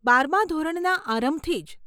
બારમાં ધોરણના આરંભથી જ.